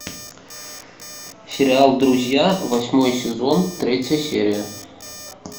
сериал друзья восьмой сезон третья серия